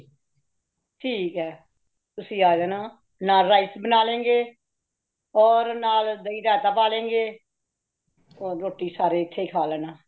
ਠੀਕ ਹੇ , ਤੁਸੀਂ ਅਜਾਨਾ ਨਾਲ rice ਬਨਾ ਲਾਗੇ , ਔਰ ਨਾਲ ਦਹੀ ਰਾਇਤਾ ਪਾਲੇਗੇ , ਔਰ ਰੋਟੀ ਸਾਰੇ ਇਥੇ ਹੀ ਖਾ ਲੇਨਾ